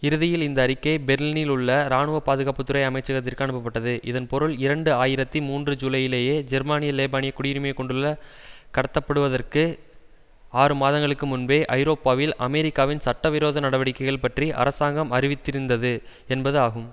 இறுதியில் இந்த அறிக்கை பெர்லினில் உள்ள இராணுவ பாதுகாப்பு துறை அமைச்சரகத்திற்கு அனுப்பப்பட்டது இதன் பொருள் இரண்டு ஆயிரத்தி மூன்று ஜூலையிலேயே ஜெர்மானிய லெபானிய குடியுரிமை கொண்டுள்ள கடத்தப்படுவதற்கு ஆறு மாதங்களுக்கு முன்பே ஐரோப்பாவில் அமெரிக்காவின் சட்டவிரோத நடவடிக்கைகள் பற்றி அரசாங்கம் அறிவித்திருந்தது என்பது ஆகும்